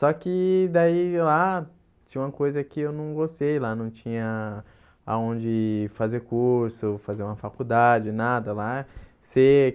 Só que daí lá tinha uma coisa que eu não gostei lá, não tinha aonde fazer curso, fazer uma faculdade, nada lá.